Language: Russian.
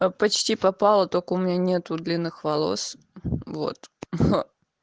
а почти попала только у меня нету длинных волос вот ха